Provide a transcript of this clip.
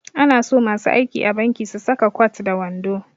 Ana so masu aiki a banki su saka kwat da wando